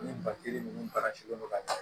Ni ba tigi ni barajuru ka jan